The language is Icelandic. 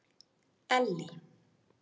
Ellý